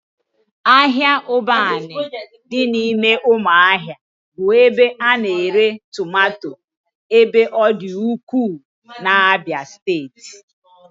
Ahịa Ụbanị dị n'ụmụahia bụ ebe a na-ere tomato ebe ọ dị ukwuu n'Abia steeti